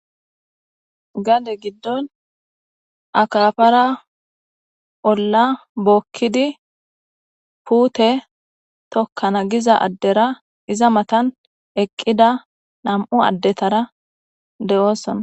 Gade gidon akafara ola bokidi pute tokan giza addera iza matan eqida nam'u adetara deosona.